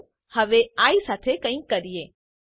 ચાલો હવે આઇ સાથે કંઈક કરીએ